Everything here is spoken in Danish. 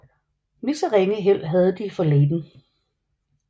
Lige så ringe held havde de for Leyden